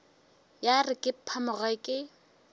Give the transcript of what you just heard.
ya re ke phamoge ke